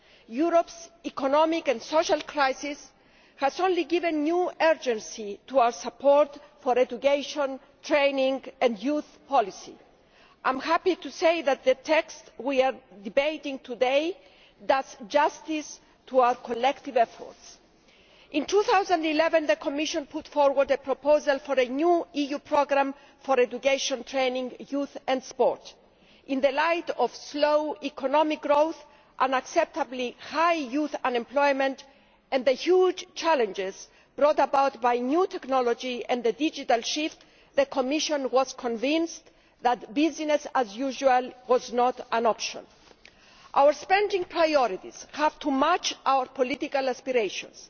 Europe's economic and social crisis has only given new urgency to our support for education, training and youth policy. I am happy to say that the text we are debating today does justice to our collective efforts. In 2011, the Commission put forward a proposal for a new EU programme for education, training, youth and sport. In the light of slow economic growth, unacceptably high youth unemployment, and the huge challenges brought about by new technology and the digital shift, the Commission was convinced that business as usual was not an option. Our spending priorities have to match our political aspirations.